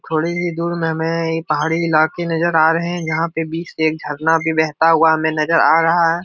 थोड़ी ही दूर में हमें ये पहाड़ी इलाके नजर आ रहे हैं। जहाँ पे बीच एक झरना भी बहता हुआ हमें नजर आ रहा है।